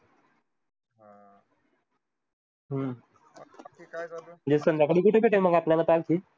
हम्म संध्याकाळी कुठे भेटेल मगआपल्याला party?